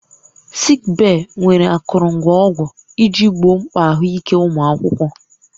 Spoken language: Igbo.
Sik bee nwere akụrụngwa ọgwụ iji gboo mkpa ahụike ụmụ akwụkwọ